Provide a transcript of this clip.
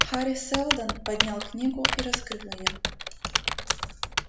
хари сэлдон поднял книгу и раскрыл её